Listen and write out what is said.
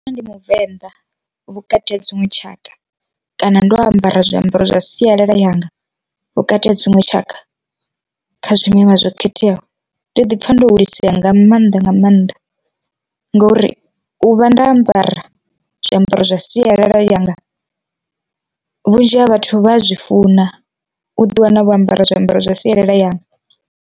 Ndi muvenḓa vhukati ha dziṅwe tshaka kana ndo ambara zwiambaro zwa sialala yanga vhukati ha dziṅwe tshaka kha zwimelwa zwo khetheaho, ndi ḓi pfha ndo hulisea nga maanḓa nga maanḓa ngori u vha nda ambara zwiambaro zwa sialala yanga vhunzhi ha vhathu vha a zwi funa u ḓi wana vho ambara zwiambaro zwa sialala yanga.